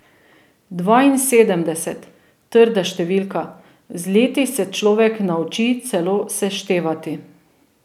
Dvainsedemdeset, trda številka, z leti se človek nauči celo seštevati.